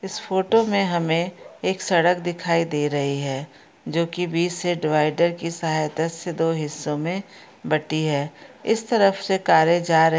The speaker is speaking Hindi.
इस फोटो में हमे एक सड़क दिखाई दे रही है जो की बीच से डिवाइडर की सहायता से दो हिस्सों में बटी है इस तरफ से कारे जा र --